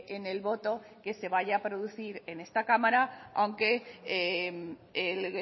en el voto que se vaya a producir en esta cámara aunque el